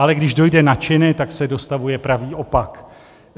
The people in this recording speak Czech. Ale když dojde na činy, tak se dostavuje pravý opak.